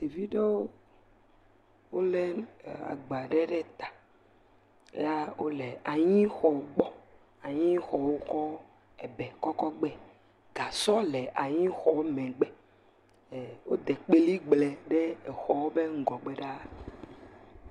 Ɖevi ɖewo wolé agba aɖe ɖe ta. Ya wole anyixɔ gbɔ. Anyixɔ wokɔ ebɛ kɔ kɔ gbɛ. Gasɔ le anyixɔɔ megbe. Wode kpeligble ɖe exɔɔ ƒe ŋgɔgbe ɖaa.